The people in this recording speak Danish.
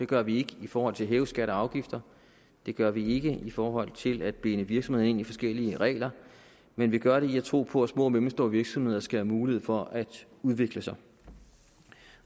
gør vi ikke forhold til at hæve skatter og afgifter det gør vi ikke i forhold til at binde virksomhederne ind i forskellige regler men vi gør det ved at tro på at små og mellemstore virksomheder skal have mulighed for at udvikle sig